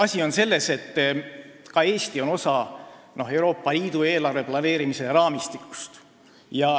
Asi on selles, et ka Eesti on osa Euroopa Liidu eelarve planeerimise raamistikust.